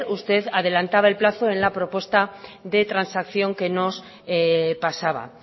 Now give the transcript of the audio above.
usted adelantaba el plazo en la propuesta de transacción que nos pasaba